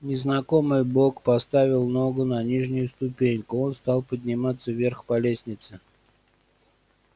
незнакомый бог поставил ногу на нижнюю ступеньку он стал подниматься вверх по лестнице